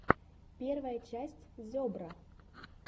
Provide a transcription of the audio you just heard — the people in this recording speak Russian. первая часть зебра